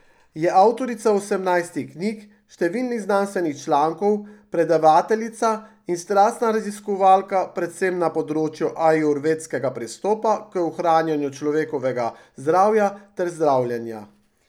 Je avtorica osemnajstih knjig, številnih znanstvenih člankov, predavateljica in strastna raziskovalka predvsem na področju ajurvedskega pristopa k ohranjanju človekovega zdravja ter zdravljenja.